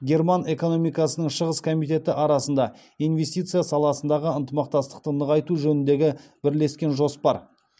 герман экономикасының шығыс комитеті арасында инвестиция саласындағы ынтымақтастықты нығайту жөніндегі бірлескен жоспар